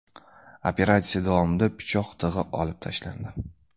Operatsiya davomida pichoq tig‘i olib tashlandi.